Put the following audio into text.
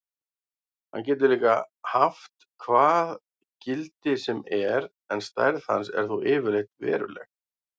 Hann getur líka haft hvað gildi sem er en stærð hans er þó yfirleitt veruleg.